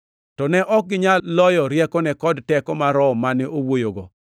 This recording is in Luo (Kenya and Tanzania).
to ne ok ginyal loyo riekone kod teko mar Roho mane owuoyogo.